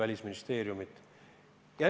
See on tema elutöö.